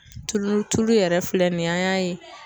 Tulu tulu yɛrɛ filɛ nin ye an y'a ye